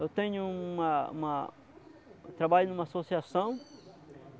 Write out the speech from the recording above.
Eu tenho uma uma... trabalho em uma associação.